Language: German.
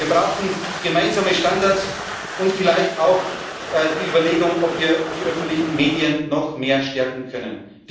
Wir brauchen gemeinsame Standards und vielleicht auch die Überlegung, ob wir die öffentlichen Medien noch mehr stärken